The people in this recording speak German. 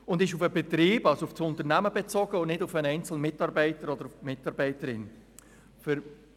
Sie ist auf das Unternehmen und nicht auf den einzelnen Mitarbeiter oder die einzelne Mitarbeiterin bezogen.